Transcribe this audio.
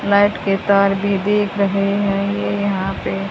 Light के शहर भी देख रहे हैं ये यहां पे।